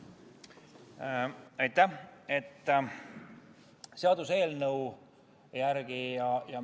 Aitäh!